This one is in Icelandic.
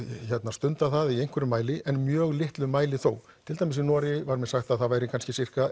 stundað það í einhverjum mæli en mjög litlum mæli þó til dæmis í Noregi var mér sagt að það væri kannski